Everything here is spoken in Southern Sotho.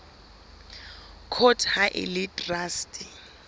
court ha e le traste